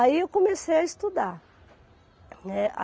Aí eu comecei a estudar, né.